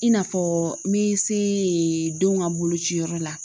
I n'a fɔ n bɛ se denw ka bolociyɔrɔ la